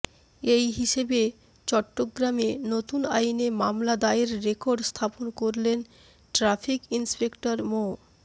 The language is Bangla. এই হিসেবে চট্টগ্রামে নতুন আইনে মামলা দায়েরের রেকর্ড স্থাপন করলেন ট্রাফিক ইন্সপেক্টর মো